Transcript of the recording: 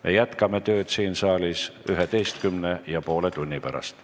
Me jätkame tööd siin saalis üheteistkümne ja poole tunni pärast.